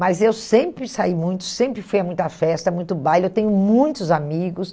Mas eu sempre saí muito, sempre fui a muita festa, muito baile, eu tenho muitos amigos.